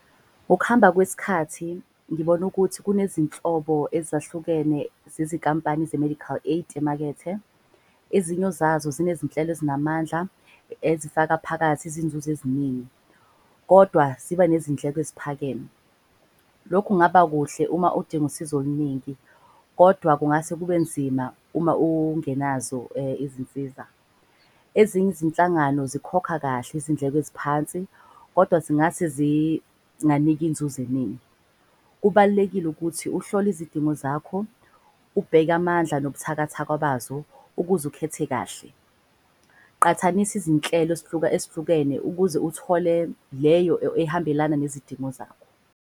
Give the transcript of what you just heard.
Ukuhamba kwesikhathi ngibona ukuthi kunezinhlobo ezahlukene zezinkampani ze-medical aid emakethe. Ezinyo zazo zinezinhlelo ezinamandla ezifaka phakathi izinzuzo eziningi, kodwa ziba nezindleko eziphakeme. Lokhu kungaba kuhle uma udinga usizo oluningi kodwa kungase kube nzima uma ungenazo izinsiza. Ezinye izinhlangano zikhokha kahle izindleko eziphansi kodwa zingase zinganiki inzuzo eningi. Kubalulekile ukuthi uhlole izidingo zakho, ubheke amandla nobuthakathaka bazo ukuze ukhethe kahle. Qathanisa izinhlelo eshlukene ukuze uthole leyo ehambelana nezidingo zakho.